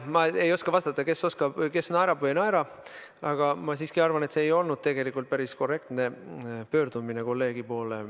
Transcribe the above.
Ma ei oska vastata, kes naerab või ei naera, aga ma siiski arvan, et see ei olnud tegelikult päris korrektne pöördumine kolleegi poole.